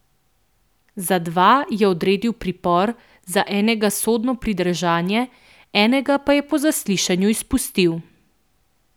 Za dva je odredil pripor, za enega sodno pridržanje, enega pa je po zaslišanju izpustil.